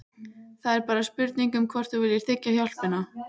Það er bara spurning um hvort þú viljir þiggja hjálpina.